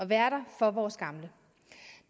være der for vores gamle